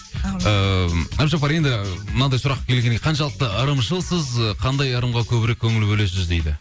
ыыы әбдіжаппар енді мынадай сұрақ келген екен қаншалықты ырымшылсыз қандай ырымға көбірек көңіл бөлесіз дейді